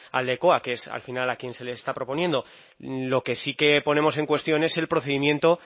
aldekoa que es al final a quien se le está proponiendo lo que sí que ponemos en cuestión es el procedimiento